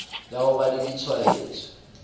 ya ho ba le ditshwaetso